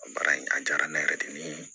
A baara in a diyara ne yɛrɛ dimi ye